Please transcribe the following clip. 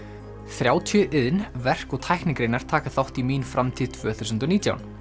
þrjátíu iðn verk og tæknigreinar taka þátt í mín framtíð tvö þúsund og nítján